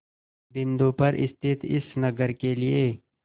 बिंदु पर स्थित इस नगर के लिए